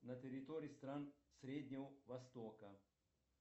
на территории стран среднего востока